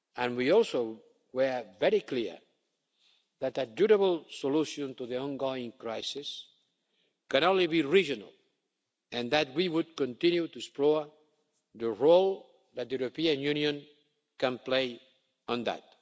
We were also very clear that a durable solution to the ongoing crisis can only be regional and that we would continue to explore the role that the European Union can play